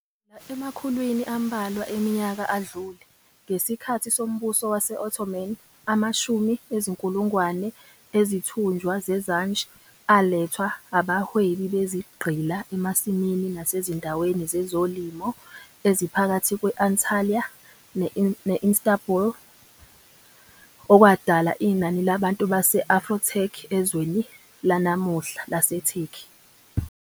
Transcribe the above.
Kusukela emakhulwini ambalwa eminyaka adlule, ngesikhathi soMbuso Wase-Ottoman, amashumi ezinkulungwane ezithunjwa zeZanj alethwa abahwebi bezigqila emasimini nasezindaweni zezolimo eziphakathi kwe-Antalya ne-Istanbul, okwadala inani labantu base-Afro-Turk ezweni lanamuhla laseTurkey.